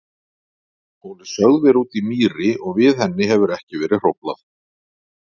Hún er sögð vera úti í mýri og við henni hefur ekki verið hróflað.